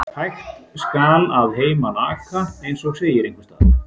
Hægt skal að heiman aka, eins og segir einhvers staðar.